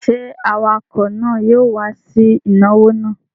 Ṣé awakọ̀ náà yóò wá sí ìnáwó náà?